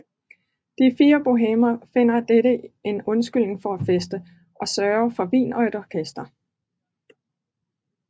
De fire bohèmer finder i dette en undskyldning for at feste og sørger for vin og et orkester